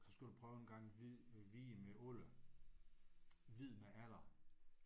Så skulle du prøve en gang hvid hvid med alder. Hvid med alder